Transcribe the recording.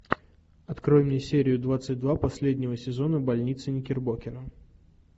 открой мне серию двадцать два последнего сезона больницы никербокера